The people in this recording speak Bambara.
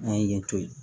N'a ye yen to ye